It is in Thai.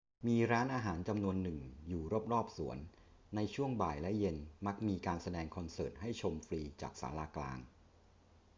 มีร้านอาหารจำนวนหนึ่งอยู่รอบ ๆ สวน ในช่วงบ่ายและเย็นมักมีการแสดงคอนเสิร์ตให้ชมฟรีจากศาลากลาง